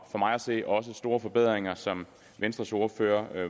for mig at se også store forbedringer som venstres ordfører